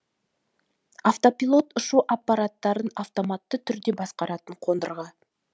автопилот ұшу аппаратын автоматты түрде басқаратын қондырғы